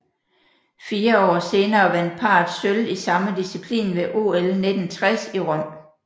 Fire år senere vandt parret sølv i samme disciplin ved OL 1960 i Rom